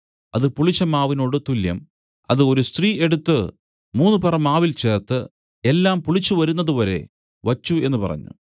അത് പുളിച്ചമാവിനോട് തുല്യം അത് ഒരു സ്ത്രീ എടുത്തു മൂന്നുപറ മാവിൽ ചേർത്ത് എല്ലാം പുളിച്ചുവരുന്നതു വരെ വച്ചു എന്നു പറഞ്ഞു